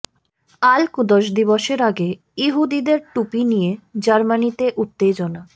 আল Quds দিবসের আগে ইহুদিদের টুপি নিয়ে জার্মানিতে উত্তেজনা